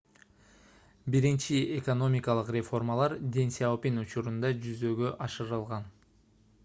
биринчи экономикалык реформалар дэн сяопин учурунда жүзөгө ашырылган